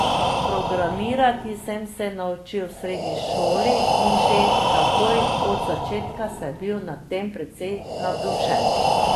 Programirati sem se naučil v srednji šoli in že takoj od začetka sem bil nad tem precej navdušen.